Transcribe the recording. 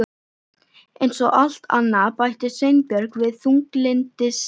Eins og allt annað- bætti Sveinbjörn við þunglyndislega.